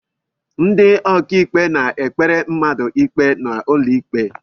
Ndị ọkàikpe na-ekpere mmadụ ikpe n'ụlọikpe